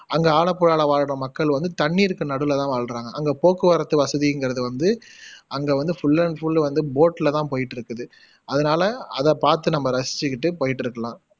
அங்க ஆலப்புழால வாழுற மக்கள் வந்து தண்ணீருக்கு நடுவுல தான் வாழுறாங்க அங்க போக்குவரத்து வசதிங்குறது வந்து அங்க வந்து ஃபுல் அண்ட் ஃபுல் வந்து போட்ல தான் போயிட்டுருக்குது அதனால அத பாத்து நம்ப ரசிச்சுக்குட்டு போயிட்டிருக்கலாம்